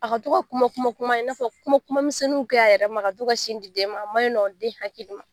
A ka to ka kuma kuma kuma in n'a fɔ kuma kuma misɛnninw kɛ a yɛrɛ ka to ka sin di den a manɲi nɔ den hakili ma